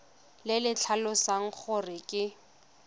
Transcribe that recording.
le le tlhalosang gore ke